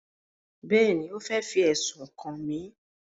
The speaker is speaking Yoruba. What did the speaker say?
Bẹ́ẹ̀ni, ó fẹ́ fi ẹ̀sùn kàn mí